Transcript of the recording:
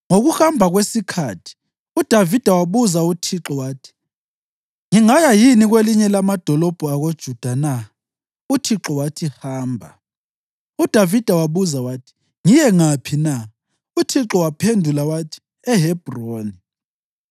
Ngokuhamba kwesikhathi uDavida wabuza uThixo wathi, “Ngingaya yini kwelinye lamadolobho akoJuda na?” UThixo wathi, “Hamba.” UDavida wabuza wathi, “Ngiye ngaphi na?” UThixo waphendula wathi, “EHebhroni.”